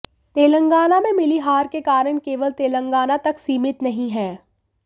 तेलंगाना में मिली हार के कारण केवल तेलंगाना तक सीमित नहीं हैं